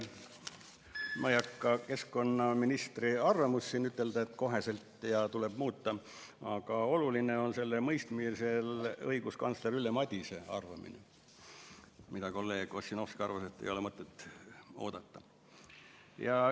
Ma ei hakka siin üle rääkima keskkonnaministri arvamust, et otsekohe tuleb muuta, aga oluline on selle mõistmisel õiguskantsler Ülle Madise arvamine, ehkki kolleeg Ossinovski arvas, et seda ei ole mõtet oodata.